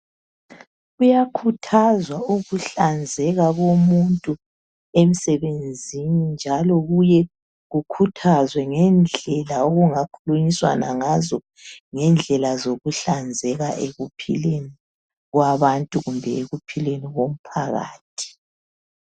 Kuyakhuthazwa ukuhlanzeka komuntu emsebenzini njalo kuye kukhuthazwe ngendlela okungakhulunyiswana ngazo ngendlela zokuhlanzeka ekuphileni kwabantu kumbe ekuphileni komphakathi.